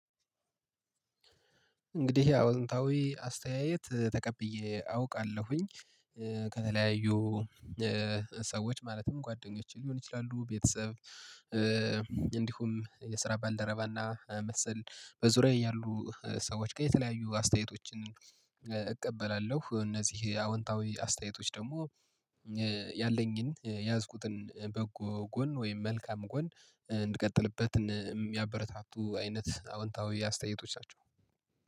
እንግዲህ ያው አዎንታዊ አስተያየት ተቀብዬ አውቃለሁኝ ከተለያዩ ሰዎች ማለትም ጓደኞቼ ሊሆን ይችላሉ ቤተሰብ። እንዲሁም የስራ ባልደረባና መሰል በዙሪያዬ ያሉ ሰዎች ከየተለያዩ አስተያየቶችን እቀበላለሁ። እነዚህ አዎንታዊ አስተያየቶች ደግሞ ያለኝን የያዝኩትን በጎ ጎን ወይም መልካም ጎን እንድቀጥልበትን የሚያበረታቱ አይነት አዎንታዊ አስተያየቶች ናቸው